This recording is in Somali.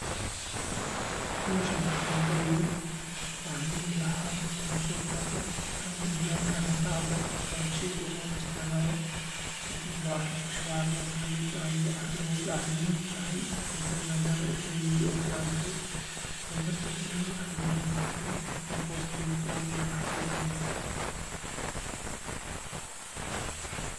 Hawshan qofka barayoo waxaa dilahaa in u soo qaadato juyuwaan kaa ama bacda wuxuu shay guur u isticmaalo ka dib waa caara ku shuba caaradas namid ba caarda woobi geydud ahaa igu tahay maadaama isaga iyo fiican tahay. Wana marta kordhow haddii biyano ku shubo meel hoose dhiigo quraacadii xaqiimaha liyo.